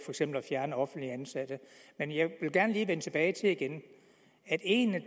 eksempel at fjerne offentligt ansatte men jeg vil gerne lige igen vende tilbage til at en af